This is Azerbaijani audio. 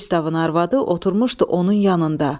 Pristavın arvadı oturmuşdu onun yanında.